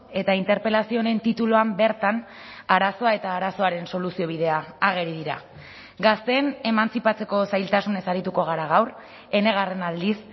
eta interpelazio honen tituluan bertan arazoa eta arazoaren soluzio bidea ageri dira gazteen emantzipatzeko zailtasunez arituko gara gaur enegarren aldiz